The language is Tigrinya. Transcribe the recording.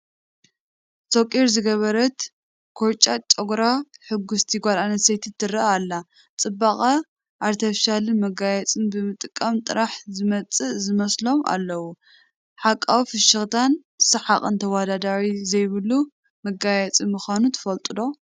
ሶቒር ዝገበረት ኮርጫጭ ጨጉራ ሕጉስቲ ጓል ኣነስተይቲ ትርአ ኣላ፡፡ ፅባቐ ኣርተፊሻልን መጋየፅን ብምጥቃም ጥራሕ ዝመፅእ ዝመስሎም ኣለዉ፡፡ ሓቃዊ ፍሽኽታን ሰሓቕን ተወዳዳሪ ዘይብሉ መጋየፂ ምዃኑ ትፈልጡ ዶ?